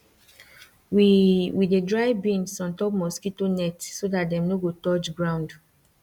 we we dey dry beans on top mosquito net so that dem nor go touch ground